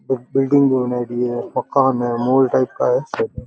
Building नो बनायेड़ी है मकान है मॉल टाइप का है।